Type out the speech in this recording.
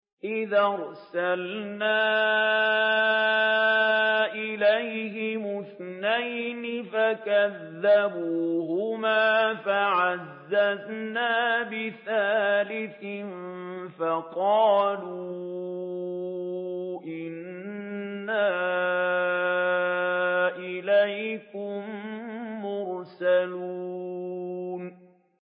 إِذْ أَرْسَلْنَا إِلَيْهِمُ اثْنَيْنِ فَكَذَّبُوهُمَا فَعَزَّزْنَا بِثَالِثٍ فَقَالُوا إِنَّا إِلَيْكُم مُّرْسَلُونَ